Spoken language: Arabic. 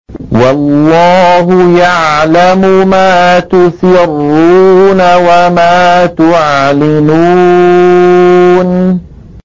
وَاللَّهُ يَعْلَمُ مَا تُسِرُّونَ وَمَا تُعْلِنُونَ